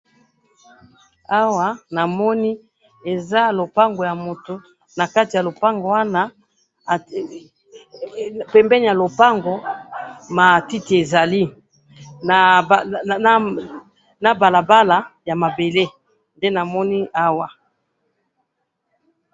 awa namoni eza lopango ya mutu na kati ya lopango wana he pembeni ya lopango matiti ezali na blabala ya mabele nde namoni awa